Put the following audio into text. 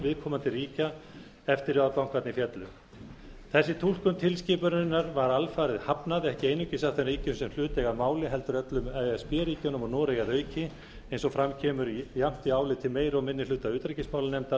viðkomandi ríkja eftir að bankarnir féllu þessari túlkun tilskipunarinnar var alfarið hafnað ekki einungis af þeim ríkjum sem hlut eiga að máli heldur öllum e s b ríkjunum og noregi að auki eins og fram kemur jafnt í áliti meiri og minni hluta utanríkismálanefndar